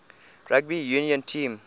rugby union team